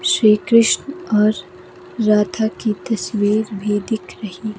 श्री कृष्ण और राधा की तस्वीर भी दिख रही--